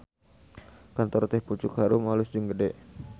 Kantor Teh Pucuk Harum alus jeung gede